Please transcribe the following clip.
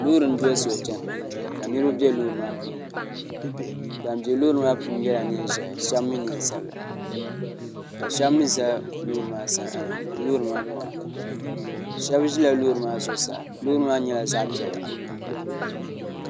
loori n doli soli chɛna ka niraba bɛ di puuni ban ʒi loori maa puuni yɛla neen ʒiɛhi ka shab mii ʒɛ loori maa kpaŋa shab ʒila loori maa zuɣusaa loori maa nyɛla zaɣ piɛlli